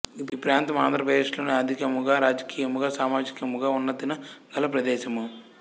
ఈప్రాంతము ఆంధ్రప్రదేశ్ లోని ఆర్థికముగా రాజకీయముగా సామాజికముగా ఉన్నతిన గల ప్రదేశము